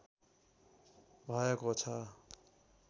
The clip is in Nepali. भएको छ।